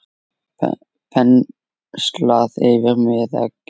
Penslað yfir með eggi.